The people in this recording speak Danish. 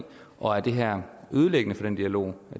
og er det her ødelæggende for den dialog